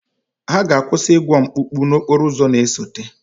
Ha ga-akwụsị ịgwọ mkpụkpụ n'okporo ụzọ na-esote.